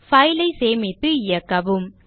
file ஐ சேமித்து இயக்கவும்